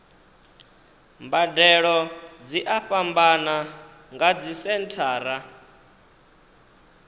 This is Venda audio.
mbadelo dzi a fhambana nga dzisenthara